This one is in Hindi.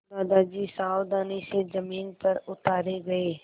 दादाजी सावधानी से ज़मीन पर उतारे गए